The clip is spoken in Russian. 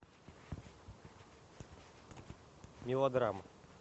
мелодрама